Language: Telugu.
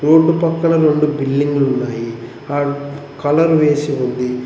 రోడ్డు పక్కన రొండు బిల్డింగ్లు ఉన్నాయి అడు కలర్ వేసి ఉంది.